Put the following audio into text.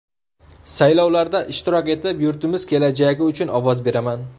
Saylovlarda ishtirok etib, yurtimiz kelajagi uchun ovoz beraman.